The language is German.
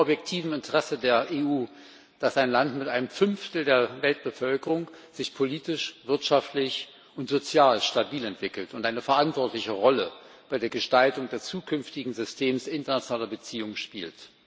Es liegt im objektiven Interesse der EU, dass sich ein Land mit einem Fünftel der Weltbevölkerung politisch, wirtschaftlich und sozial stabil entwickelt und eine verantwortliche Rolle bei der Gestaltung des zukünftigen Systems internationaler Beziehungen spielt.